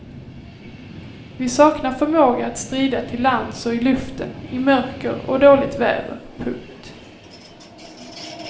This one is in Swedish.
Vi saknar förmåga att strida till lands och i luften i mörker och dåligt väder. punkt